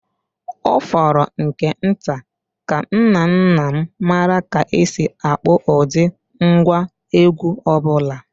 Ọ fọrọ nke nta ka nna nna m maara ka e si akpọ ụdị ngwá egwú ọ bụla.